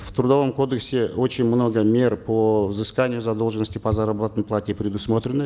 в трудовом кодексе очень много мер по взысканию задолженности по заработной плате предусмотрено